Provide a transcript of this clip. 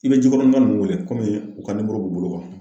I bɛ Jikɔrɔnika ninnu wele komi u ka b'u bolo